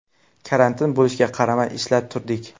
Karantin bo‘lishiga qaramay, ishlab turdik.